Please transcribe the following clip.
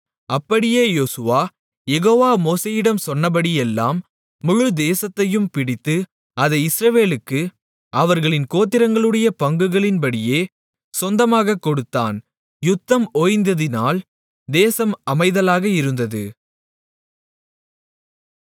அப்படியே யோசுவா யெகோவா மோசேயிடம் சொன்னபடியெல்லாம் முழு தேசத்தையும் பிடித்து அதை இஸ்ரவேலுக்கு அவர்களின் கோத்திரங்களுடைய பங்குகளின்படியே சொந்தமாகக் கொடுத்தான் யுத்தம் ஓய்ந்ததினால் தேசம் அமைதலாக இருந்தது